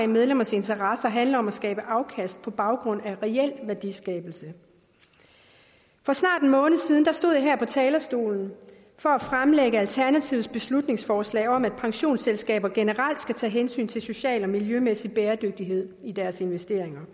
medlemmers interesser handler om at skabe afkast på baggrund af reel værdiskabelse for snart en måned siden stod jeg her på talerstolen for at fremlægge alternativets beslutningsforslag om at pensionsselskaber generelt skal tage hensyn til social og miljømæssig bæredygtighed i deres investeringer